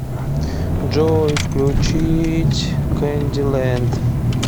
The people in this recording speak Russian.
джой включить кэнди лэнд